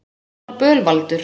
Hún var bölvaldur.